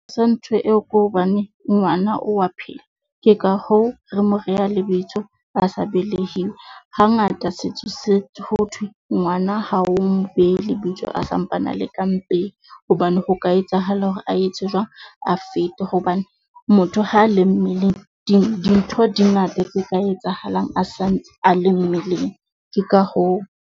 A sa ntho eo ke hobane ngwana o wa phela, ke ka hoo re mo reha lebitso a sa belehiwe. Hangata, setso se ho thwe ngwana ha o mo behe lebitso a sampana a le ka mpeng. Hobane ho ka etsahala hore a etse jwang, a fete hobane motho ha le mmeleng dintho di ngata tse ka etsahalang a santse a le mmeleng. Ke ka hoo.